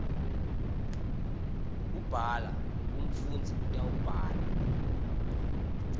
kubhala umfundzi utawubhala